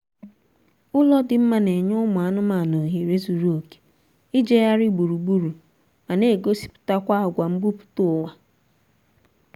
ụlọ dị mma na-enye ụmụ anụmaanụ ohere zuru oké ijegharị gburugburu ma na-egosipụtakwa agwa mbumputaụwa